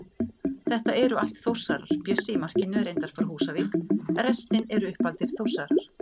Þetta eru allt Þórsarar, Bjössi í markinu er reyndar frá Húsavík, restin eru uppaldir Þórsarar.